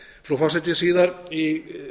frú forseti síðar í